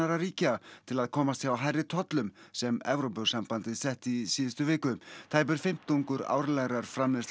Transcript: ríkja til að komast hjá hærri tollum sem Evrópusambandið setti í síðustu viku tæpur fimmtungur árlegrar framleiðslu